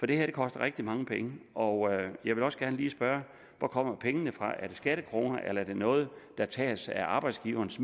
det her koster rigtig mange penge og jeg vil også gerne lige spørge hvor kommer pengene fra er det skattekroner eller er det noget der tages af arbejdsgivernes